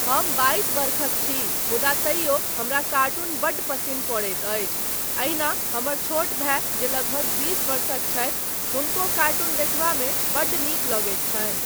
हम बाइस वर्षक छी मुदा तैयो हमरा कार्टून बड्ड पसिन्न पड़ैत अछि, एहिना हमर छोट भाय जे लगभग बीस वर्षक छथि हुनको कार्टून देखबामे बड्ड नीक लगैत छनि।